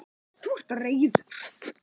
Þú ert reiður.